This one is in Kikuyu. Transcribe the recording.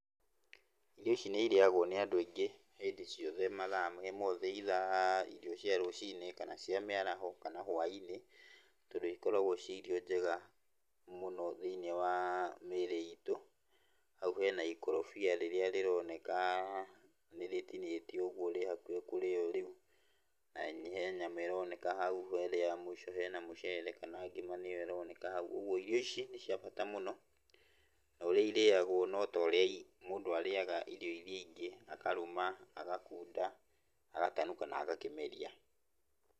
Irio ici nĩ irĩagwo nĩ andũ aingĩ hĩndĩ ciothe, mathaa me mothe either irio cia rũcinĩ, kana cia mĩaraho, kana hwainĩ tondũ ikoragwo ci irio njega mũno thĩiniĩ wa mĩĩrĩ itũ. Hau hena ikorobia rĩrĩa rĩroneka nĩrĩtinĩtio ũgwo rĩhakuhĩ kũrĩywo rĩu, na he nyama ironeka hau, harĩa mũico hena mũceere kana ngima nĩyo ĩroneka hau, ũgwo irio ici nĩ cia bata mũno, norĩa ĩrĩagwo notorĩa mũndũ arĩaga irio iria ingĩ, akarũma, agakunda, agatanuka na agakĩmeria.